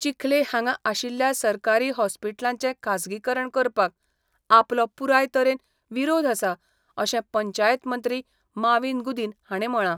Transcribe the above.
चिखले हांगा आशिल्ल्या सरकारी हाँस्पिटलाचें खासगी करण करपाक आपलो पुराय तरेन विरोध आसा अशें पंचायत मंत्री माविन गुदिन हाणें म्हळा.